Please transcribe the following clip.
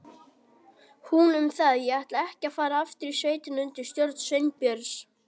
Hún um það, en ég ætlaði ekki að fara aftur í sveitina undir stjórn Sveinbjörns.